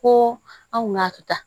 Ko an kun y'a kɛ tan